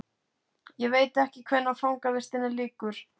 Ég veit ekki hvenær fangavistinni lýkur.